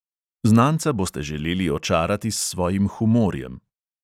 Znanca boste želeli očarati s svojim humorjem.